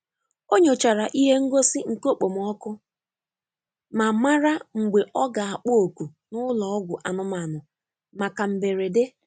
O nyochara ihe ngosi nke okpomọkụ ọkụ ma mara mgbe ọ ga-akpọ oku n'ụlọ ọgwụ anụmanụ maka mberede.